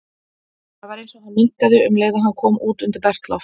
Það var eins og hann minnkaði um leið og hann kom út undir bert loft.